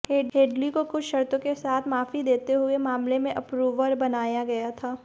Headley को कुछ शर्तों के साथ माफी देते हुए मामले में अप्रूवर बनाया गया था